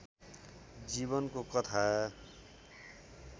जीवनको कथा